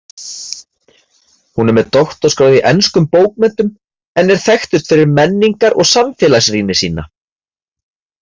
Hún er með doktorsgráðu í enskum bókmenntum en er þekktust fyrir menningar- og samfélagsrýni sína.